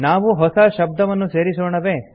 ನಾವು ಹೊಸ ಶಬ್ದವನ್ನು ಸೇರಿಸೋಣವೇ